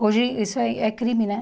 Hoje, isso aí é crime, né?